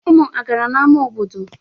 Ụmụ a gara n'ama obodo?